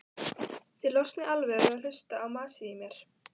Þið losnið alveg við að hlusta á masið í mér.